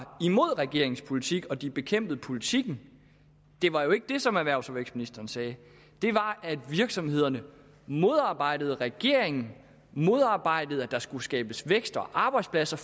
imod regeringens politik og at de bekæmpede politikken det var jo ikke det som erhvervs og vækstministeren sagde det var at virksomhederne modarbejdede regeringen modarbejdede at der skulle skabes vækst og arbejdspladser